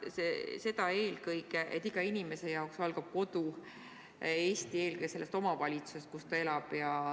Pean silmas eelkõige seda, et iga inimese jaoks algab kodu, Eesti, eelkõige sellest omavalitsusest, kus ta elab.